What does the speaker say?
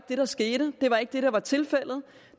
det der skete det var ikke det der var tilfældet